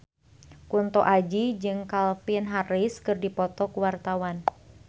Kunto Aji jeung Calvin Harris keur dipoto ku wartawan